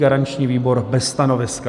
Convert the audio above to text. Garanční výbor bez stanoviska.